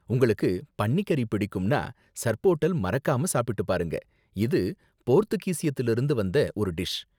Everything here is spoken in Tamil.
உங்களுக்கு பன்னி கறி பிடிக்கும்னா, சர்போட்டல் மறக்காம சாப்பிட்டு பாருங்க, இது போர்த்துகீசியத்துல இருந்து வந்த ஒரு டிஷ்.